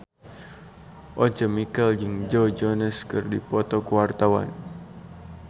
Once Mekel jeung Joe Jonas keur dipoto ku wartawan